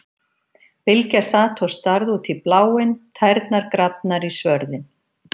Bylgja sat og starði út í bláinn, tærnar grafnar í svörðinn.